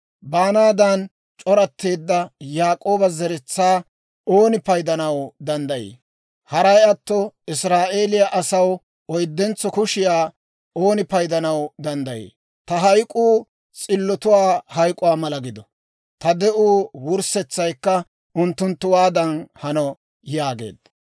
Baanaadan c'oratteedda Yaak'ooba zeretsaa ooni paydanaw danddayii? Haray atto Israa'eeliyaa asaw oyddentso kushiyaa ooni paydanaw danddayii? Ta hayk'k'uu s'illotuwaa hayk'uwaa mala gido; ta de'uwaa wurssetsaykka unttunttuwaadan hano!» yaageedda.